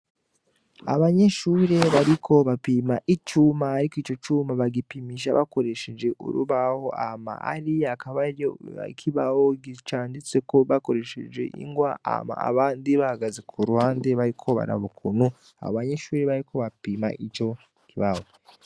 Abanyeshure bariko bapima icuma ariko ico cuma bagipimisha bakoresheje urubaho hama hariya hakaba hariyo ikibaho canditseko bakoresheje ingwa hama abandi bahagaze kuruhande bariko baraba ukuntu abanyeshure bariko bapima ico kibaho.